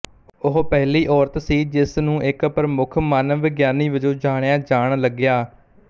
ਉਹ ਪਹਿਲੀ ਔਰਤ ਸੀ ਜਿਸ ਨੂੰ ਇੱਕ ਪ੍ਰਮੁੱਖ ਮਾਨਵ ਵਿਗਿਆਨੀ ਵਜੋਂ ਜਾਣਿਆ ਜਾਣ ਲੱਗਿਆ